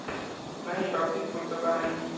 नाही बाबतीत पुर्तता नाही.